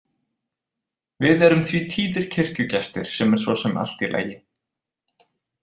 Við erum því tíðir kirkjugestir sem er svo sem allt í lagi.